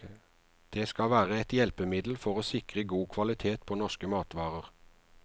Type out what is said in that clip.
Det skal være et hjelpemiddel for å sikre god kvalitet på norske matvarer.